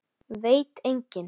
Veit enginn?